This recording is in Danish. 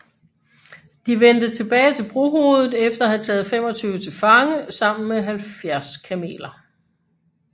De vendte tilbage til brohovedet efter at have taget 25 til fange sammen med 70 kameler